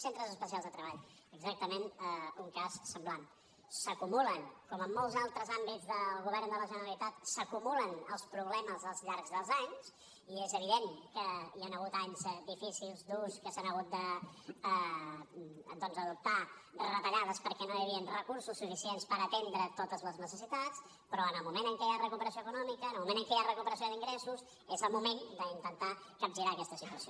centres especials de treball exactament un cas semblant s’acumulen com en molts altres àmbits del govern de la generalitat els problemes al llarg dels anys i és evident que hi han hagut anys difícils durs en què s’han hagut doncs d’adoptar retallades perquè no hi havien recursos suficients per atendre totes les necessitats però en el moment en què hi ha recuperació econòmica en el moment en què hi ha recuperació d’ingressos és el moment d’intentar capgirar aquesta situació